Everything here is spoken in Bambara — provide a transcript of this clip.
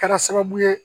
Kɛra sababu ye